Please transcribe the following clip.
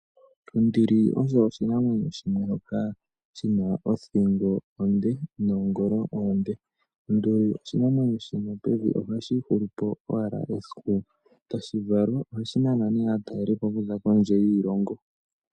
Onduli osho oshinamwenyo shimwe shoka shi na othingo onde noongolo oonde. Onduli osho oshinamwenyo shino pevi oha shi ihulu po owala esiku ta shi valwa. Oha shi nana ne aatalelipo oku za kondje yiilongo